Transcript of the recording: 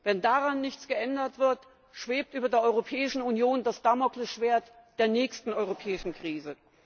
Wenn daran nichts geändert wird, schwebt über der Europäischen Union das Damokles Schwert der nächsten europäischen Krise!